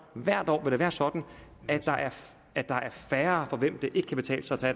hvert år vil være sådan at der er færre for hvem det ikke kan betale sig